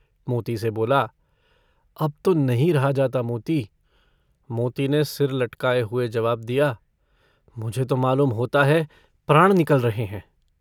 मोती से बोला - अब तो नहीं रहा जाता मोती। मोती ने सिर लटकाए हुए जवाब दिया - मुझे तो मालूम होता है प्राण निकल रहे हैं।